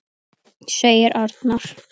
segir Arnar.